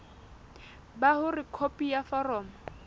ba hore khopi ya foromo